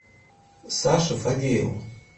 саше фадееву